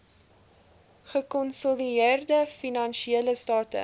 gekonsolideerde finansiële state